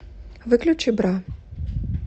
выключи бра